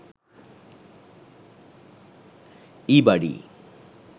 ebuddy